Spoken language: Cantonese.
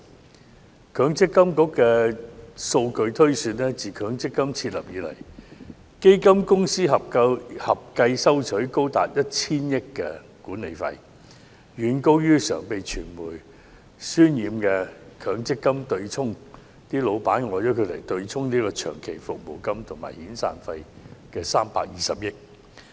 根據強制性公積金計劃管理局的數據推算，自強積金設立以來，基金公司合計收取高達 1,000 億元的管理費用，遠高於常被傳媒渲染的強積金對沖即公司老闆用以對沖長期服務金和遣散費的320億元。